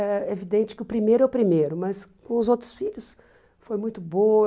É evidente que o primeiro é o primeiro, mas com os outros filhos foi muito boa.